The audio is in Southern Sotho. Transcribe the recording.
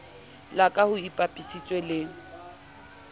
la ka ho ipapisitswe le